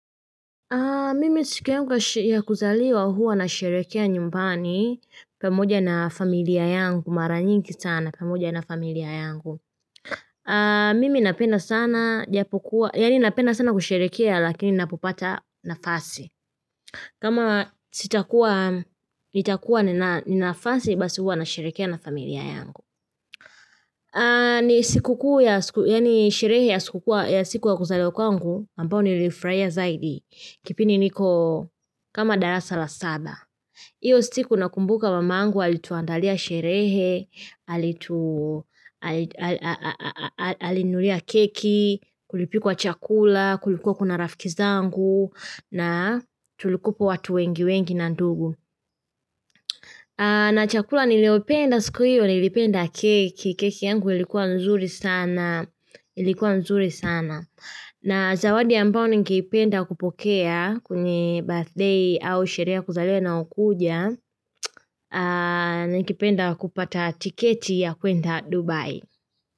Mimi siku yangu ya kuzaliwa huwa nasherekea nyumbani pamoja na familia yangu mara nyingi sana pamoja na familia yangu. Mimi napenda sana japokuwa, yani napenda sana kusherekea lakini napopata nafasi. Kama sitakuwa, nitakuwa ni nafasi basi huwa nasherekea na familia yangu. Ni siku kuu ya sherehe ya siku ya kuzaliwa kwangu ambayo nilifurahia zaidi kipindi niko kama darasa la saba. Iyo siku nakumbuka mamangu alituandalia sherehe, alininunulia keki, kulipikwa chakula, kulikuwa kuna rafiki zangu na tulikuwa watu wengi wengi na ndugu. Na chakula niliopenda siku hiyo, nilipenda keki, keki yangu ilikuwa nzuri sana. Na zawadi ambao ningeipenda kupokea kwenye birthday au sherea ya kuzaliwa inayokuja, ningependa kupata tiketi ya kwenda Dubai.